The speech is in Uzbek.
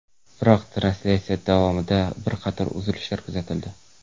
Biroq translyatsiya davomida bir qator uzilishlar kuzatildi.